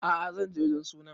A'a zan je wajen sunan